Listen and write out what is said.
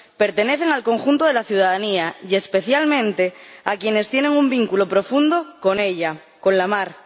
Pertenecen al conjunto de la ciudadanía y especialmente a quienes tienen un vínculo profundo con ella, con la mar.